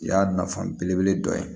O y'a nafa belebele dɔ ye